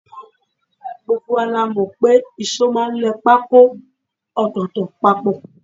Gbogbo wa la mọ̀ pé ìṣó máa ń lẹ pákó ọ̀tọ̀ọ̀tọ̀ papọ̀